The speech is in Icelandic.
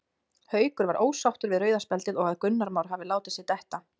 Haukur var ósáttur við rauða spjaldið og að Gunnar Már hafi látið sig detta.